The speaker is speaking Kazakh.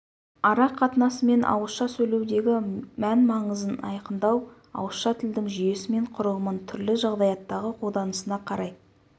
арақатынасы мен ауызша сөйлеудегі мәнмаңызын айқындау ауызша тілдің жүйесі мен құрылымын түрлі жағдаяттағы қолданысына қарай